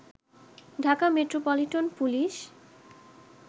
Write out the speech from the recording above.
Dhaka metropolitan police